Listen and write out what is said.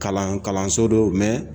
Kalan kalanso don